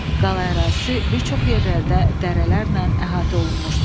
Qala ərazisi bir çox yerlərdə dərələrlə əhatə olunmuşdu.